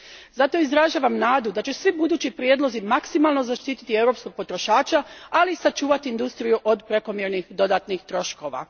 Zato izražavam nadu da će svi budući prijedlozi maksimalno zaštiti europskog potrošača, ali i sačuvati industriju od prekomjernih dodatnih troškova.